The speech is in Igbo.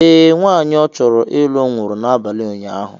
ee, nwaanyị ọchọrọ ịlụ nwụrụ n’abalị ụnyahụ